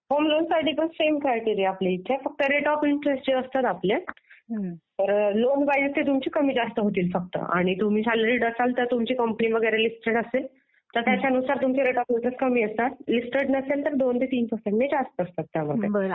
Home loan साठी पण same criteria आहे आपल्याकडे फक्त जे रेट ऑफ इंटरेस्ट असतं ना आपले तर लोन वीज ते तुमचे कमी जास्त होतील फक्त. आणि तुम्ही सॅलरीड असाल, तुमची कंपनी वगैरे लिस्टेड असेल, तर त्यांच्यानुसार तुमचे रेट ऑफ इंटरेस्ट कमी असतात. लिस्टेड नसेल तर दोन ते तीन पर्सेंट ने जास्त असतात.